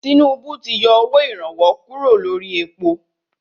Tinúbú ti yọ owó ìrànwọ́ kúrò lórí èpo.